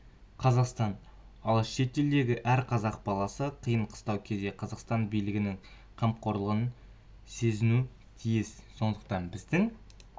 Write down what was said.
қазақстан ал шетелдегі әр қазақ баласы қиын-қыстау кезде қазақстан билігінің қамқорлығын сезінуі тиіс сондықтан біздің